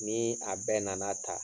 Ni a bɛɛ nana ta,